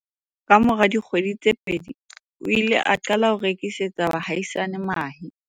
Kamora dikgwedi tse pedi, o ile a qala ho rekisetsa baahisani mahe.